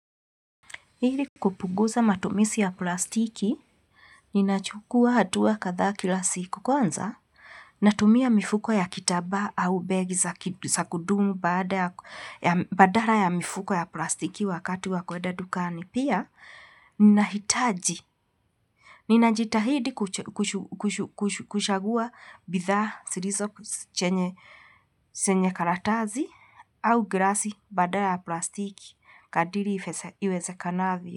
Ili kupunguza matumizi ya plastiki, ninachukua hatua kadhaa kila siku kwanza, natumia mifuko ya kitambaa au begi za kudumu baada ya badala ya mifuko ya plastiki wakati wa kuenda dukani. Pia, ninahitaji. Ninajitahidi kuchagua bidhaa zilizo chenye karatasi au glasi badala ya plastiki kadri iwezakanavyo.